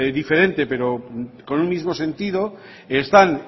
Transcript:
diferente pero con un mismo sentido están